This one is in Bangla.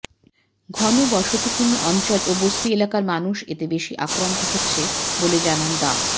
ঘন বসতিপূর্ণ অঞ্চল ও বস্তি এলাকার মানুষ এতে বেশি আক্রান্ত হচ্ছে বলে জানান ডা